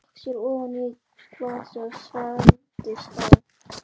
Pabbi hans stakk sér ofan í glasið og svelgdist á.